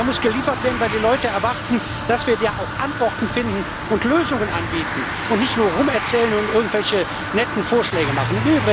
Da muss geliefert werden, weil die Leute erwarten, dass wir da auch Antworten finden und Lösungen anbieten und nicht nur herumerzählen und irgendwelche netten Vorschläge machen.